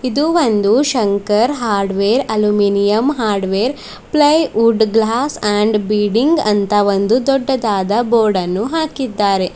ಇದು ಒಂದು Shankar hardware aluminium hardware plywood glass and bidding ಅಂತ ಒಂದು ದೊಡ್ಡದಾದ ಬೋರ್ಡ್ ಅನ್ನು ಹಾಕಿದ್ದಾರೆ.